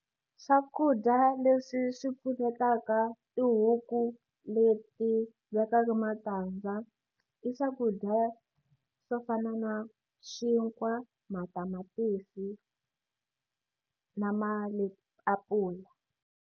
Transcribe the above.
Swakudya leswi swi pfunetaka tihuku leti vekaka matandza i swakudya swo fana na xinkwa matamatisi na maapula.